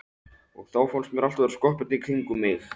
Og þá fannst mér allt vera skoppandi í kringum mig.